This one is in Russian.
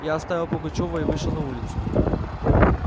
я оставил пугачёва и вышел на улицу